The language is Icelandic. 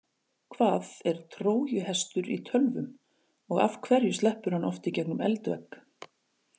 Hvað er trójuhestur í tölvum og af hverju sleppur hann oft í gegnum eldvegg?